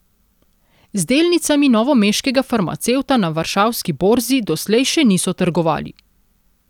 Z delnicami novomeškega farmacevta na varšavski borzi doslej še niso trgovali.